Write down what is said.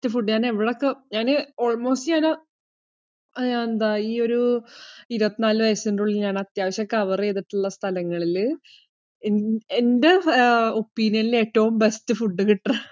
ഞാനേ എവിടെ ഒക്കെ, ഞാന് almost, ഞാന് ആഹ് ന്ത ഈ ഒരു ഇരുപത്തി നാല് വയസിനു ഉള്ളിൽ ഞാൻ അത്യാവശ്യം cover ചെയ്തിട്ടുള്ള സ്ഥലങ്ങളിൽ, എന്റെ opinion ഇൽ ഏറ്റവും best ഫുഡ് കിട്ടുന്ന